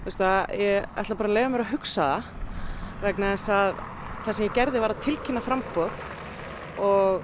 ég ætla bara að leyfa mér að hugsa það vegna þess að það sem ég gerði var að tilkynna framboð og